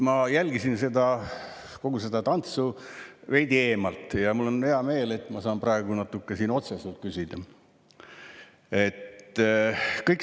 Ma jälgisin kogu seda tantsu veidi eemalt ja mul on hea meel, et ma saan praegu siin otseselt küsida.